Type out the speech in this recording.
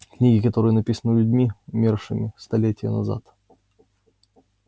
книги которые написаны людьми умершими столетия назад